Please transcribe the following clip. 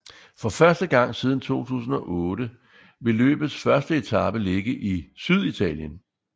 For første gang siden 2008 vil løbets første etape ligge i Syditalien